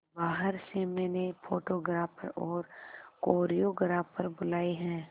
बाहर से मैंने फोटोग्राफर और कोरियोग्राफर बुलाये है